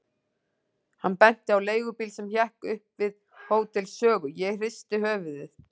Hann benti á leigubíl sem hékk upp við Hótel Sögu, ég hristi höfuðið.